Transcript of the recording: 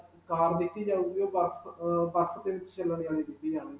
car ਦਿੱਤੀ ਜਾਉਗੀ, ਉਹ ਬਰਫ ਅਅ ਬਰਫ ਦੇ ਵਿਚ ਚੱਲਣ ਵਾਲੀ ਦਿੱਤੀ ਜਾਉਗੀ.